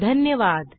धन्यवाद